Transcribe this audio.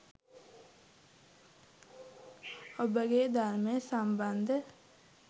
ඔබගේ ධර්මය සම්බන්ධ